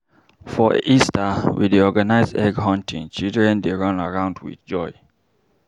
For Easter, we dey organize egg hunting, children dey run around with joy.